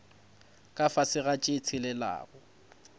ka fase ga tše tshelelago